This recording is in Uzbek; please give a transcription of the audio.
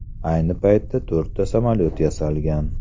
Ayni paytda to‘rtta samolyot yasalgan.